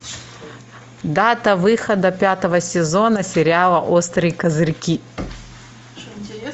дата выхода пятого сезона сериала острые козырьки